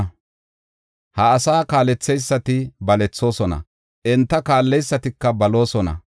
Ha asaa kaaletheysati balethoosona; enta kaalleysatika baloosona.